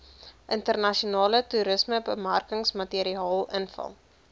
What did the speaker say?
internasionale toerismebemarkingsmateriaal invul